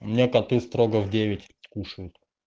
у меня коты строго в девять кушают